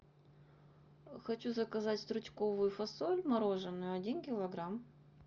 хочу заказать стручковую фасоль мороженную один килограмм